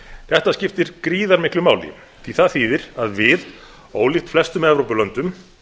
þetta skiptir gríðarmiklu máli því það þýðir að við ólíkt flestum evrópulöndum